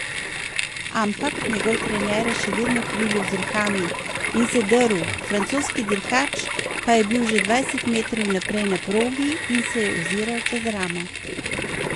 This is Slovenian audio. Ampak njegov trener je še vedno krilil z rokami in se drl, francoski dirkač pa je bil že dvajset metrov naprej na progi in se je oziral čez ramo.